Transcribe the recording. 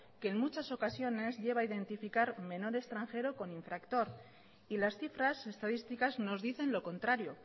que en muchas ocasiones lleva a identificar menor extranjero con infractor y las cifras estadísticas nos dicen lo contrario